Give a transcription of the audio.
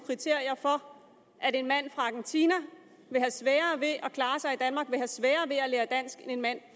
kriterier for at en mand fra argentina vil have sværere ved at klare sig i danmark vil have sværere ved at lære dansk end en mand